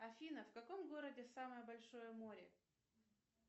афина в каком городе самое большое море